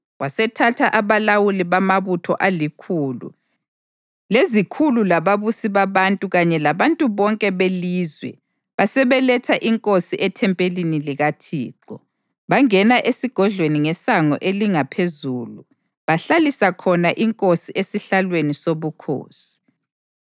Wasethatha abalawuli bamabutho alikhulu, lezikhulu lababusi babantu kanye labantu bonke belizwe basebeletha inkosi ethempelini likaThixo. Bangena esigodlweni ngeSango elingaPhezulu bahlalisa khona inkosi esihlalweni soBukhosi,